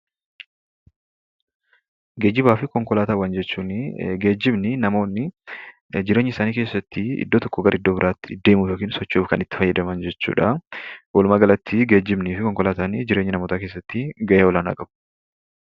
Geejjibaa fi Konkolaataa jechuun geejjibni kan namoonni jireenya isaanii keessatti bakka tokoo bakka biraatti socho'uuf gargaaruu dha. Walumaa galatti geejjibnii fi Konkolaataan jireenya hawwaasaa keessatti ga'ee Olaanaa qabu.